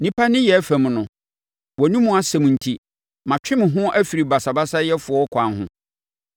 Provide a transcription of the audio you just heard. Nnipa nneyɛɛ fam no, wʼanomu asɛm enti matwe me ho afiri basabasayɛfoɔ akwan ho.